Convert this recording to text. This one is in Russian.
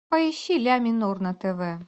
поищи ля минор на тв